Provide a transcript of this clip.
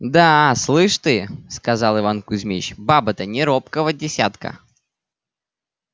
да слышь ты сказал иван кузмич баба-то не робкого десятка